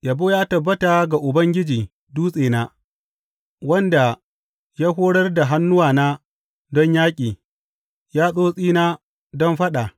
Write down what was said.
Yabo ya tabbata ga Ubangiji dutsena, wanda ya horar da hannuwana don yaƙi, yatsotsina don faɗa.